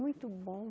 Muito bom.